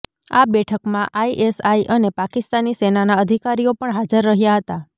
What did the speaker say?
આ બેઠકમાં આઇએસઆઇ અને પાકિસ્તાની સેનાના અધિકારીઓ પણ હાજર રહ્યા હતા